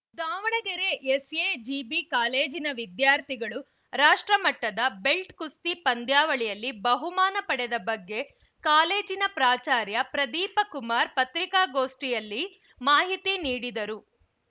Davanagere SAGB ಕಾಲೇಜಿನ ವಿದ್ಯಾರ್ಥಿಗಳು ರಾಷ್ಟ್ರ ಮಟ್ಟದ ಬೆಲ್ಟ್‌ ಕುಸ್ತಿ ಪಂದ್ಯಾವಳಿಯಲ್ಲಿ ಬಹುಮಾನ ಪಡೆದ ಬಗ್ಗೆ ಕಾಲೇಜಿನ ಪ್ರಾಚಾರ್ಯ ಪ್ರದೀಪಕುಮಾರ ಪತ್ರಿಕಾಗೋಷ್ಠಿಯಲ್ಲಿ ಮಾಹಿತಿ ನೀಡಿದರು